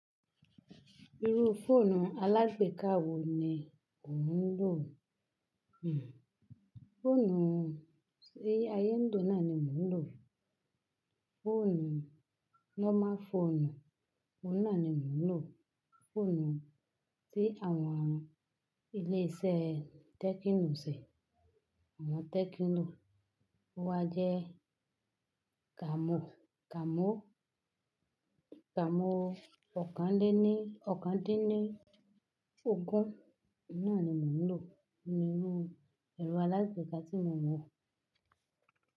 Irú fóònù alágbèká wo ni ò ń lò? Hm, fóònù ti ayé nlo náà ni mò ń lò. Fóònù nọ́ḿa fóònù, ó náà ni mò ń lò. Fóònù tí àwọn ilé-iṣẹ́ tekino ṣe, àwọn tekino owá jẹ́ Kamó, Kamó, Kamó ọ̀kándin ní, ọ̀kándin ní ogún, náà ni mò ń lò. Ní irú ẹ̀rọ alágbèká tí mò ń lò.